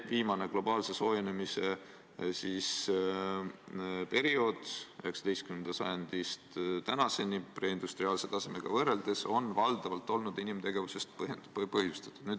Viimane globaalse soojenemise periood, 19. sajandist tänaseni preindustriaalse tasemega võrreldes, on valdavalt olnud inimtegevusest põhjustatud.